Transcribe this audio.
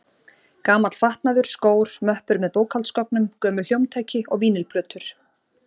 Gamall fatnaður, skór, möppur með bókhaldsgögnum, gömul hljómtæki og vínyl-plötur.